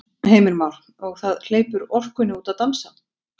Heimir Már: Og það hleypur orkunni út að dansa?